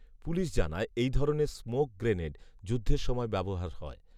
police জানায়, এই ধরনের স্মোক গ্রেনেড, যুদ্ধের সময় ব্যবহার হয়